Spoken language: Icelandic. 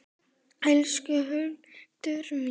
Elsku Hildur mín.